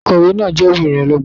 Akọ̀wé náà jẹ́ obìnrin ọlọ́gbọ́n